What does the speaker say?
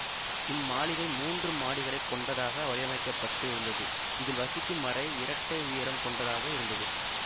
இம் மாளிகை மூன்று மாடிகளை கொண்டதாக வடிவமைக்க பட்டு இருந்தது இதில் வசிக்கும் அறை இரட்டை உயரம் கொண்டதாக இருந்தது